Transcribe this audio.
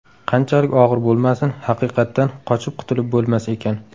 Qanchalik og‘ir bo‘lmasin, haqiqatdan qochib qutulib bo‘lmas ekan.